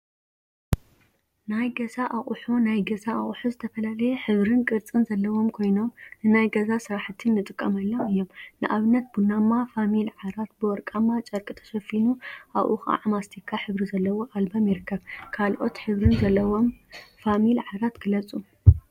ናይ ገዛ አቁሑ ናይ ገዛ አቁሑ ዝተፈላለየ ሕብሪን ቅርፂን ዘለዎም ኮይኖም፤ ንናይ ገዛ ስራሕቲ እንጥቀመሎም እዮም፡፡ ንአብነት ቡናማ ፋሚል ዓራት ብወረቃማ ጨርቂ ተሸፊኑ አብኡ ከዓ ማስቲካ ሕብሪ ዘለዎ አልበም ይርከብ፡፡ ካልኦት ሕብሪን ዘለዎምም ፋሚል ዓራት ግለፁ፡፡